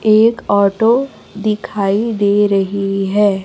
एक ऑटो दिखाई दे रही है।